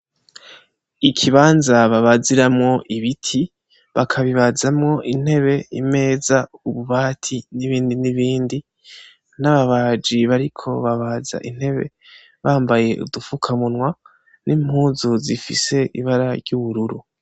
Ikibanza babaziramwo ibiti, bakabibazamwo intebe, imeza, ububati n'ibindi n'ibindi n'ababaji bariko babaza intebe bambaye udufukamunwa n'impuzu zifise ibara ry'ubururu.